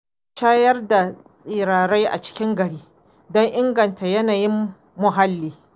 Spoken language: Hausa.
Za a shayar da tsirrai a cikin gari don inganta yanayin muhalli.